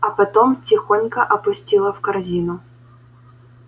а потом тихонько опустила в корзину